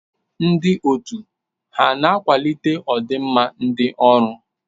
Ndị otu ha na-akwalite ọdị nma ndi ọrụ?